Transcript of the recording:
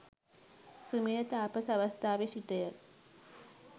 සුමේධ තාපස අවස්ථාවේ සිටය.